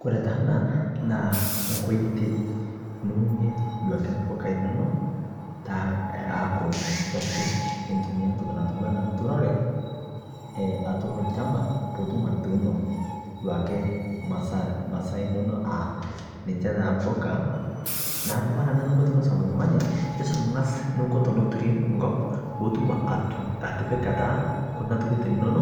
Kore taa ana naa nkotei niunie duake mbukai enono taa eyaaku eitumia ntokii natuuwa ana nturore atuur lchamba puu utuum etuuno duake maasai enono aa ninchee taa mbukaa. Naaku kore ana niikoo tenisum ltung'ani isuum ang'aas niikoo teneturii nkoop poo utuum atipikaa taa kuna ntokitin enono